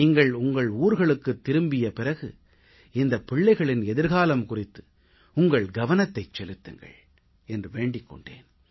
நீங்கள் உங்கள் ஊர்களுக்குத் திரும்பிய பிறகு இந்தப் பிள்ளைகளின் எதிர்காலம் குறித்து உங்கள் கவனத்தைச் செலுத்துங்கள் என்று வேண்டிக் கொண்டேன்